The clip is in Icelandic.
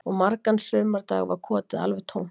Og margan sumardag var kotið alveg tómt